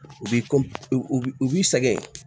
U b'i u b'i sɛgɛn